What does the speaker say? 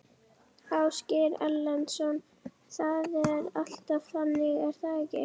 Ásgeir Erlendsson: Það er alltaf þannig er það ekki?